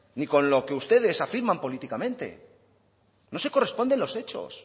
ni con lo que ustedes afirman políticamente no se corresponden los hechos